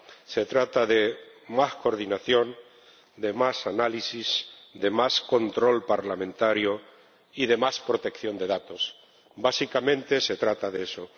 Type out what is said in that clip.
Se trata de más coordinación, de más análisis, de más control parlamentario y de más protección de datos. Básicamente, se trata de eso.